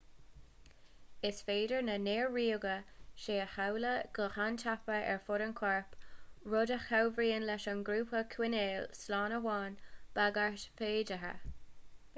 is féidir na néar-ríoga seo a sheoladh go han-tapa ar fud an choirp rud a chabhraíonn leis an gcorp a choinneáil slán ó aon bhagairt fhéideartha